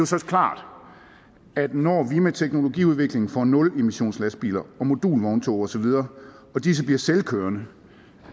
så klart at når vi med teknologiudviklingen får nulemissionslastbiler og modulvogntog og så videre og disse bliver selvkørende